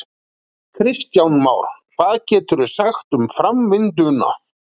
Kristján Már: Hvað geturðu sagt um framvinduna?